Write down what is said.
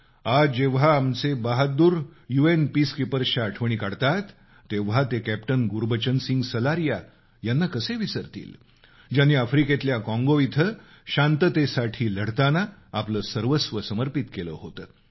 आज जेव्हा आमचे बहादूर यू एन पीसकीपर्सच्या आठवणी काढतात तेव्हा ते कॅप्टन गुरुबचन सिंग सलारिया यांना कसे विसरतील ज्यांनी आफ्रिकेतल्या काँगो इथं शांततेसाठी लढताना आपलं सर्वस्व समर्पित केलं होतं